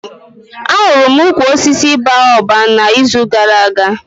Ahụrụ m ukwu osisi Baoba na izu gara aga